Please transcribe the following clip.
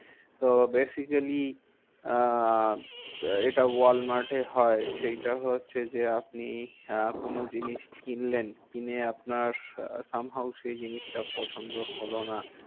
তো basically আহ এটা ওয়ালমার্টে হয়, সেইটা হচ্ছে যে আপনি আহ কোনো জিনিস কিনলেন। কিনে আপনার somehow সেই জিনিসটা পছন্দ হলো না,